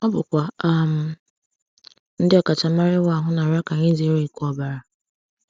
Ọ bụkwa um ndị ọkachamara ịwa ahụ na-arịọ ka anyị zere ịkụ ọbara!